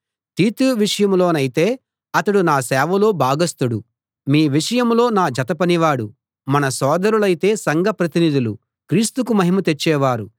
తీతు విషయంలోనైతే అతడు నా సేవలో భాగస్థుడు మీ విషయంలో నా జత పనివాడు మన సోదరులయితే సంఘ ప్రతినిధులూ క్రీస్తుకు మహిమ తెచ్చేవారు